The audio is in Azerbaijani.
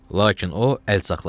Lakin o, əl saxladı.